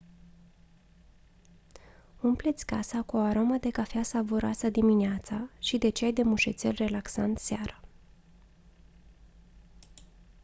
umple-ți casa cu o aromă de cafea savuroasă dimineața și de ceai de mușețel relaxant seara